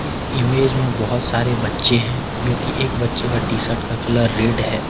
इस इमेज में बहुत सारे बच्चे हैं जो कि एक बच्चे का टी शर्ट का कलर रेड है।